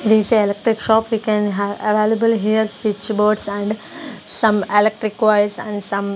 this electric shop we can have available here switchboards and some electric wires and some--